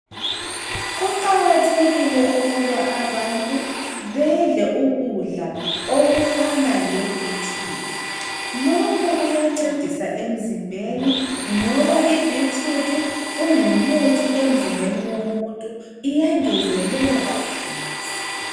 Kuqakathekile ukuba abantu badle ukudla okufana lebitrude lokhu kuyancedisa emzimbeni ngoba ibitrude ingumuthi emzimbeni womuntu iyangezelela igazi.